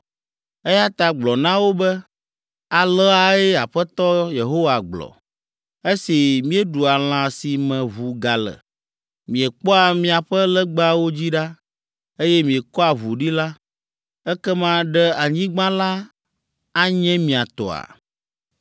Eya ta gblɔ na wo be, aleae Aƒetɔ Yehowa gblɔ. ‘Esi mieɖua lã si me ʋu gale, miekpɔa miaƒe legbawo dzi ɖa, eye miekɔa ʋu ɖi la, ekema ɖe anyigba la anye mia tɔa?